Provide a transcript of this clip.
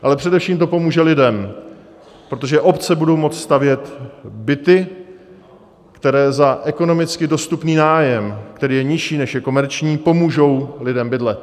Ale především to pomůže lidem, protože obce budou moci stavět byty, které za ekonomicky dostupný nájem, který je nižší, než je komerční, pomůžou lidem bydlet.